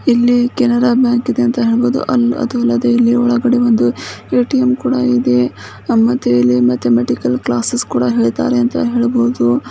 ಇಲ್ಲಿ ಕೆನರಾ ಬ್ಯಾಂಕ್ ಇದೆ ಅಂತ ಹೇಳಬಹುದು ಅದಿಲ್ಲದೆ ಒಳಗಡೆ ಒಂದು ಎ.ಟಿ.ಎಂ ಕುಡ ಇದೆ ಮತ್ತೆ ಇಲ್ಲಿ ಮ್ಯಾಥಮೆಟಿಕಲ್ ಕ್ಲಾಸೆಸ್ ಕೂಡ ಹೇಳ್ತಾರೆ ಅಂತ ಹೇಳಬಹುದು.